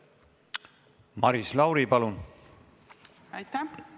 Maris Lauri, palun!